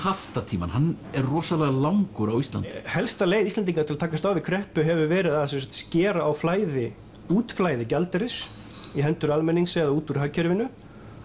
haftatímann hann er rosalega langur á Íslandi helsta leið Íslendinga til að takast á við kreppu hefur verið að skera á útflæði útflæði gjaldeyris í hendur almennings eða út úr hagkerfinu